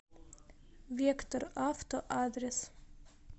вектор авто адрес